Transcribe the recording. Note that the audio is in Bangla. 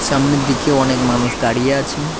সামনের দিকে অনেক মানুষ দাঁড়িয়ে আছে ।